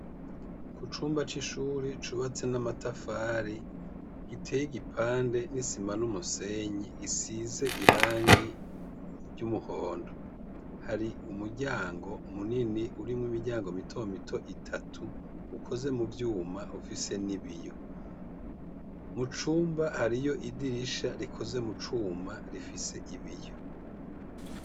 Ku cumba c'ishuri cubatse n'amatafari giteye igipande, n'isima, n'umusenyi gisize irangi ry'umuhondo, hari umuryango munini urimwo imiryango mito mito itatu, ukoze mu vyuma ufise n'ibiyo, mu cumba hariyo idirisha rikoze mu cuma rifise ibiyo.